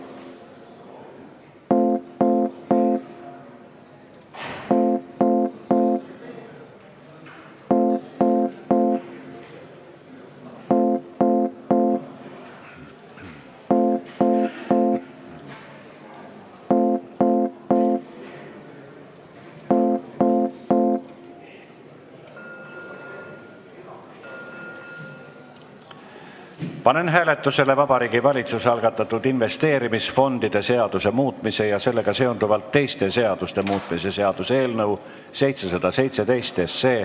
Panen hääletusele Vabariigi Valitsuse algatatud investeerimisfondide seaduse muutmise ja sellega seonduvalt teiste seaduste muutmise seaduse eelnõu 717.